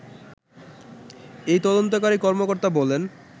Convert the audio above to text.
এই তদন্তকারী কর্মকর্তা বলেন